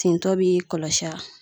Tintɔ b'i kɔlɔsi a?